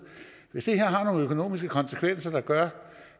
hvis det her har nogle økonomiske konsekvenser der gør